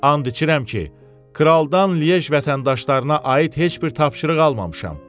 And içirəm ki, kraldan Liej vətəndaşlarına aid heç bir tapşırıq almamışam.